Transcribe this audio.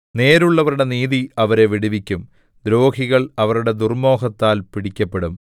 നേരുള്ളവരുടെ നീതി അവരെ വിടുവിക്കും ദ്രോഹികൾ അവരുടെ ദുർമ്മോഹത്താൽ പിടിക്കപ്പെടും